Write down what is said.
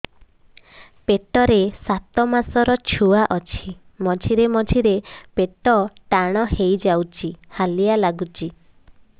ପେଟ ରେ ସାତମାସର ଛୁଆ ଅଛି ମଝିରେ ମଝିରେ ପେଟ ଟାଣ ହେଇଯାଉଚି ହାଲିଆ ଲାଗୁଚି